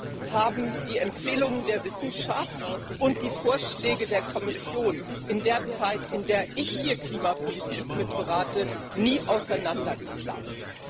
So weit haben die Empfehlungen der Wissenschaft und die Vorschläge der Kommission in der Zeit, in der ich hier Klimapolitik mitberate, nie auseinanderklafft.